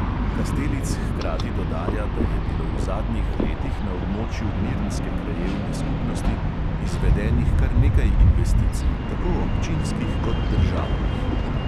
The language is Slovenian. Kastelic hkrati dodaja, da je bilo v zadnjih letih na območju mirnske krajevne skupnosti izvedenih kar nekaj investicij, tako občinskih kot državnih.